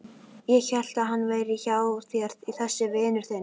Ég hélt að hann væri hjá þér þessi vinur þinn.